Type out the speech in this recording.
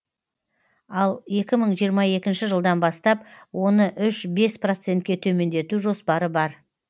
ал екі мың жиырма екінші жылдан бастап оны үш бес процентке төмендету жоспары бар